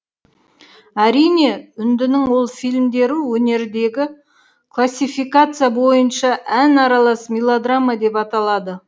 әрине үндінің ол фильмдері өнердегі классификация бойынша ән аралас мелодрама деп аталады